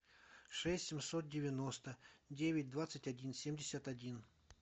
шесть семьсот девяносто девять двадцать один семьдесят один